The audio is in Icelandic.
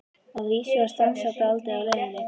Að vísu var stansað dálítið á leiðinni.